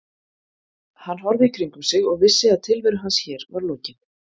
Hann horfði í kringum sig og vissi að tilveru hans hér var lokið.